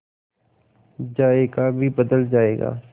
जायका भी बदल जाएगा